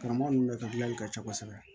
Karamɔgɔ ninnu ne ka gilanli ka ca kosɛbɛ